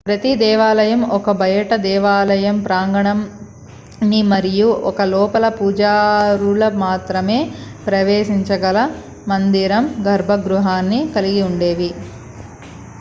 ప్రతి దేవాలయం ఒక బయటి దేవాలయ ప్రాంగణాన్ని మరియు ఒక లోపల పూజారులు మాత్రమే ప్రవేశించగల మందిరం/గర్భ గృహాన్ని కలిగి ఉండేవి